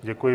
Děkuji.